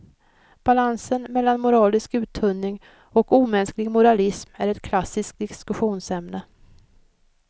Balansen mellan moralisk uttunning och omänsklig moralism är ett klassiskt diskussionsämne.